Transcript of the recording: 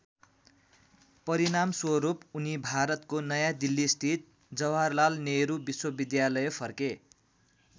परिणामस्वरूप उनी भारतको नयाँदिल्लीस्थित जवाहरलाल नेहरू विश्वविद्यालय फर्के।